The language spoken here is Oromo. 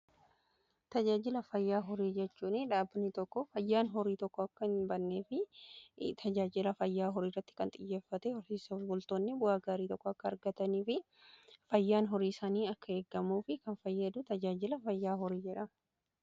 tajaajila fayyaa horii jechuun dhaabbanii tokko fayyaan horii tokko akka hin bannee fi tajaajila fayyaa horii irratti kan xiyyeeffatedha. horsiisa bultoonni bu'aa gaarii tokko akka argatanii fi fayyaan horii isaanii akka eegamuf kan fayyadu tajaajila fayyaa horii jedhama.